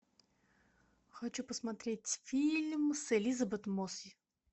хочу посмотреть фильм с элизабет мосс